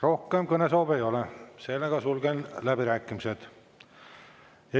Rohkem kõnesoove ei ole, sulgen läbirääkimised.